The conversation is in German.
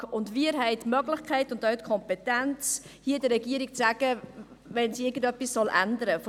Wir haben die Möglichkeit und auch die Kompetenz, der Regierung zu sagen, wenn sie etwas ändern soll.